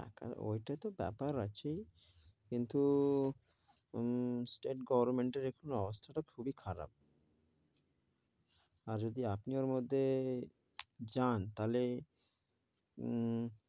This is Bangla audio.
ওইটা তো বেপার আছেই, কিন্তু হম স্টেট গভর্মেন্টের এখন অবস্থা তা খুবি খারাপ, আর যদি আপনি ওর মধ্যে যান তাহলে উম